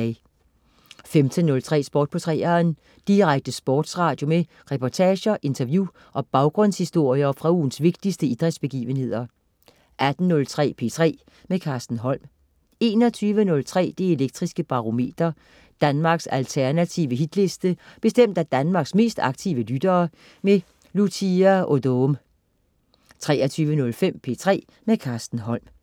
15.03 Sport på 3'eren. Direkte sportsradio med reportager, interview og baggrundshistorier fra ugens vigtigste idrætsbegivenheder 18.03 P3 med Carsten Holm 21.03 Det Elektriske Barometer. Danmarks alternative Hitliste bestemt af Danmarks mest aktive lyttere. Lucia Odoom 23.05 P3 med Carsten Holm